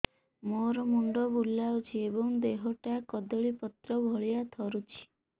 ମୋର ମୁଣ୍ଡ ବୁଲାଉଛି ଏବଂ ଦେହଟା କଦଳୀପତ୍ର ଭଳିଆ ଥରୁଛି